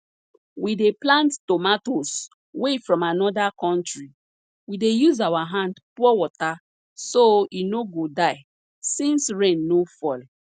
we dey plant tomatoes wey from anoda country we dey use our hand pour water so e no go die since rain no fall